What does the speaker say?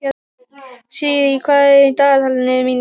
Sirrý, hvað er í dagatalinu mínu í dag?